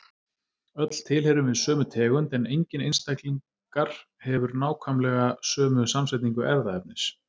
Öll tilheyrum við sömu tegund en enginn einstaklingar hefur nákvæmlega sömu samsetningu erfðaefnis.